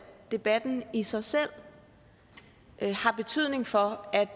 debatten i sig selv har betydning for at